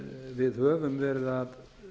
við höfum veri að